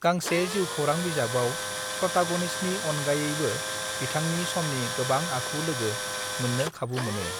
गांसे जिउ खौरां बिजाबाव प्रटागनिस्टनि अनगायैबा बिथांनि समनि गोबां आखु लोगो मोननो खाबु मोनो